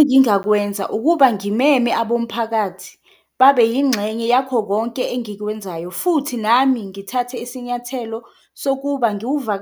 Engingakwenza ukuba ngimeme abomphakathi babe yingxenye yakho konke engikwenzayo futhi nami ngithathe isinyathelo sokuba